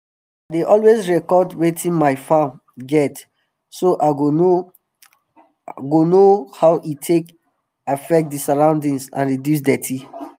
i dey always record wetin my farm get so i go know go know how e take affect d surroundings and reduce dirty